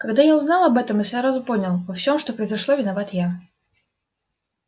когда я узнал об этом я сразу понял во всём что произошло виноват я